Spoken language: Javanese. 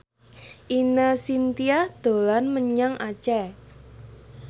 Ine Shintya dolan menyang Aceh